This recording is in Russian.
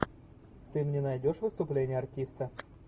ты мне найдешь выступление артиста